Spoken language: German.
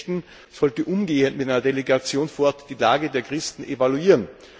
Lady Ashton sollte umgehend mit einer Delegation vor Ort die Lage der Christen evaluieren.